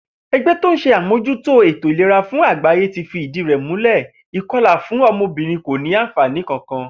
E̩gbé̩ tó ń s̩e àmòjútó ètò ìlera fún àgbáyé fi ìdí rè̩ múlè̩ ìko̩là fún o̩mo̩bìnrin kò ní àǹfàní kankan